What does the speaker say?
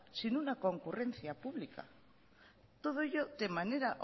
sin ninguna concurrencia pública todo ello de manera